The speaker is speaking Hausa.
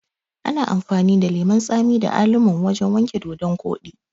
Ana amfani da lemun tsami da alum wurin wanke dodon koɗi